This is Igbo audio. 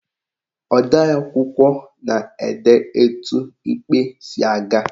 Odeakwụkwọ na-ede etu ikpe si aga.